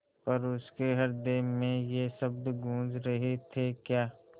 पर उसके हृदय में ये शब्द गूँज रहे थेक्या